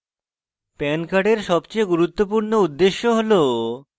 pan card সবচেয়ে গুরুত্বপূর্ণ উদ্দেশ্য হল